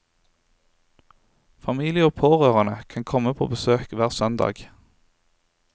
Familie og pårørende kan komme på besøk hver søndag.